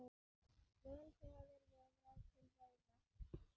Vel hefur viðrað til veiða.